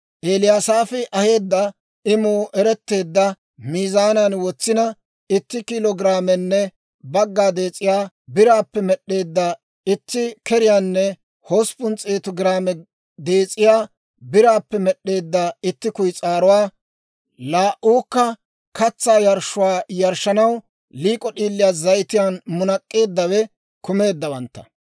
Eliyasaafi aheedda imuu eretteedda miizaanan wotsina, itti kiilo giraamenne bagga dees'iyaa biraappe med'd'eedda itti keriyaanne hosppun s'eetu giraame dees'iyaa biraappe med'd'eedda itti kuyis'aaruwaa, laa"uukka katsaa yarshshuwaa yarshshanaw liik'o d'iilii zayitiyaan munak'k'eeddawe kumeeddawantta;